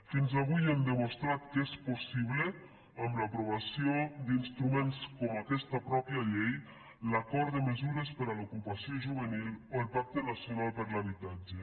fins avui hem demostrat que és possible amb l’aprovació d’instruments com aquesta mateixa llei l’acord de me sures per a l’ocupació juvenil o el pacte nacional per a l’habitatge